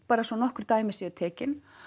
bara svo nokkur dæmi séu tekin